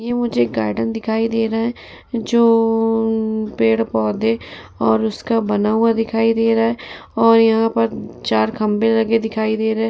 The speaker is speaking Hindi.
ये मुझे एक गार्डन दिखाई दे रहा है। जो पेड़-पौधे और उसका बना हुआ दिखाई दे रहा है और यहाँ पर चार खम्बे लगे दिखाई दे रहे हैं।